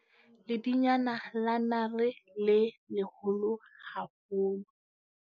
Ledinyane la nare le leholo haholo.